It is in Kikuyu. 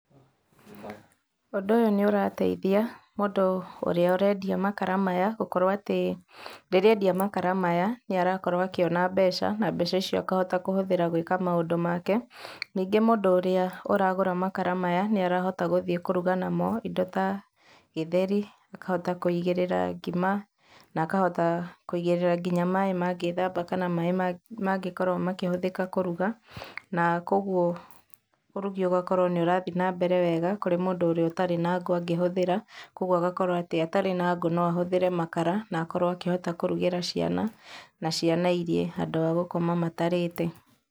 Ũndũ ũyũ nĩ ũrateithia mũndũ ũrĩa ũrendia makara maya, gũkorwo atĩ rĩrĩa endia makara maya, nĩ arakorwo akĩona mbeca, na mbeca icio agakorwo akĩhũthĩra gũĩka maũndũ make, ningĩ mũndũ ũrĩa ũragũra makara maya, nĩ arahota gũthiĩ kũruga namo, indo ta gĩtheri, akahota kũigĩrĩra ngima, na akahota kũigĩrĩra nginya maaĩ mangĩthamba, kana maaĩ mangĩkorwo makĩhũthĩka kũruga, na koguo ũrugi ũgakorwo nĩũrathiĩ na mbere wega kũrĩ mũndũ ũrĩa ũtarĩ na ngũ angĩhũthĩra, koguo agakorwo atĩ atarĩ na ngũ no ahũthĩre makara, na akorwo akĩhota kũrugĩra ciana, na ciana irĩe handũ wa gũkoma matarĩte.